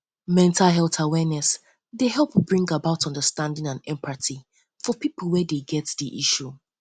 mental health awareness um dey um help bring about understanding and empathy for pipo with wey um get di challenge